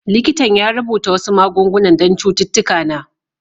Likitan ya rubuta wasu magunguna don cututtuka na.